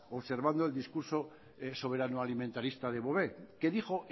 observando el discurso soberano alimentarista de bové que dijo